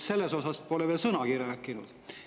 Sellest pole te veel sõnagi rääkinud.